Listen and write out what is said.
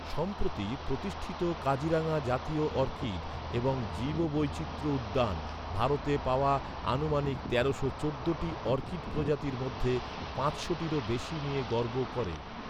সম্প্রতি প্রতিষ্ঠিত কাজিরাঙ্গা জাতীয় অর্কিড এবং জীববৈচিত্র্য উদ্যান ভারতে পাওয়া আনুমানিক তেরোশো চোদ্দ টি অর্কিড প্রজাতির মধ্যে পাঁচশোটিরও বেশি নিয়ে গর্ব করে।